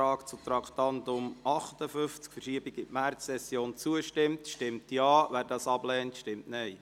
Wer dem Ordnungsantrag auf Verschiebung des Traktandums 58 in die Märzsession zustimmt, stimmt Ja, wer dies ablehnt, stimmt Nein.